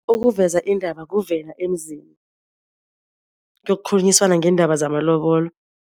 Ukuveza indaba kuvela emzini kuyokhulunyiswana ngeendaba zamalobolo.